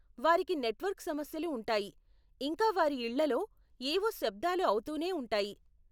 వారికి నెట్వర్క్ సమస్యలు ఉంటాయి, ఇంకా వారి ఇళ్ళలో ఏవో శబ్దాలు అవుతూనే ఉంటాయి.